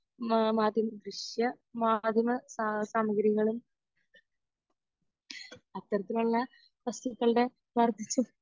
മാധ്യമ ദൃശ്യ മാധ്യമ സ സാമഗ്രികളും അത്തരത്തിലുള്ള വസ്തുക്കളുടെ